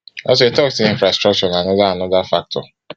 also e tok say infrastructure na anoda anoda factor